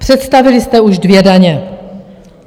Představili jste už dvě daně.